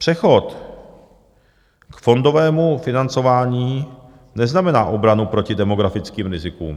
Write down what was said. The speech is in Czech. Přechod k fondovému financování neznamená obranu proti demografickým rizikům.